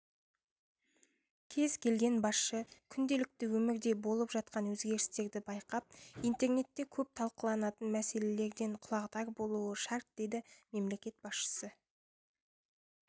кез келген басшы күнделікті өмірде болып жатқан өзгерістерді байқап интернетте көп талқыланатын мәселелерден құлағдар болуы шарт деді мемлекет басшысы